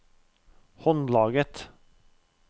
håndlaget